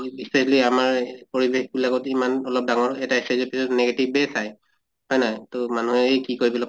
উ বিচাঁৰিলে আমাৰ পৰিবেশ বিলাকত ইমান অলপ ডাঙৰ এটা পিছত negative য়ে চায়। হয় নহয় তʼ মানুহে ই কি কয় ইবিলাক